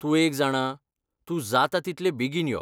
तूं एक जाणा, तूं जाता तितले बेगीन यो.